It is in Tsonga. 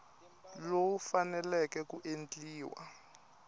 lowu wu faneleke ku endliwa